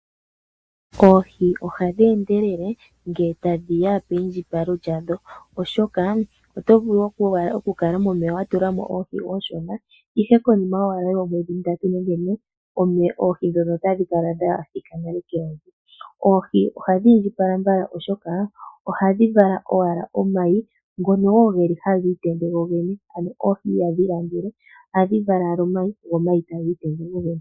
Oohi ohadhi endelele ngele tashiya peyindjipalo lyadho, oshoka otovulu okukala watulamo oohi ooshona momeya, ihe konima yoomwedhi mbali nenge ntano oohi ndhoka tadhikala dhathika keyovi. Oohi ohadhiindjipala mbala oshoka ohadhi vala owala omayi ngono hagiitende gogene, ano oohi ihadhi langele ohadhi vala owala omayi go omayi tagiitende gogene.